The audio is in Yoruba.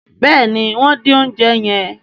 béèni wón din oúnjẹ yen.